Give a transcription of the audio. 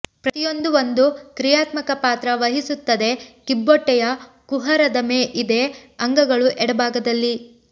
ಪ್ರತಿಯೊಂದೂ ಒಂದು ಕ್ರಿಯಾತ್ಮಕ ಪಾತ್ರ ವಹಿಸುತ್ತದೆ ಕಿಬ್ಬೊಟ್ಟೆಯ ಕುಹರದ ಇದೆ ಅಂಗಗಳು ಎಡಭಾಗದಲ್ಲಿ